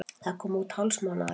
Það kom út hálfsmánaðarlega.